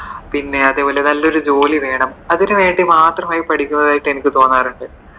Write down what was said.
പിന്നെ അതേപോലെ നല്ല ഒരു ജോലി വേണം, അതിനു വേണ്ടി മാത്രം പടിക്കുന്നതായിട്ടു എനിക്ക് തോന്നാറുണ്ട്.